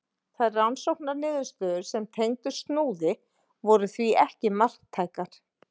Þær rannsóknarniðurstöður sem tengdust Snúði voru því ekki marktækar.